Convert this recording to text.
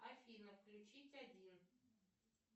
афина включить один